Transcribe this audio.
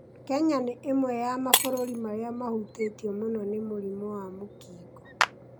Kenya nĩ ĩmwe ya mabũrũri marĩa mahutĩtio mũno nĩ mũrimũ wa mũkingo.